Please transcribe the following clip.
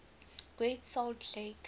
great salt lake